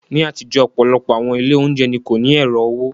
Ní àtijọ́, ọ̀pọ̀lọpọ̀ àwọn ilé oúnjẹ ni kò ní ẹ̀rọ owó.